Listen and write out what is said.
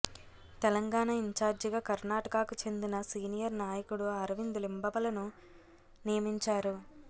తెలంగాణ ఇంచార్జీగా కర్ణాటకకు చెందిన సీనియర్ నాయకుడు అరవింద్ లింబవలను నియమించారు